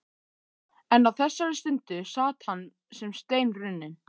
En á þessari stundu sat hann sem steinrunninn.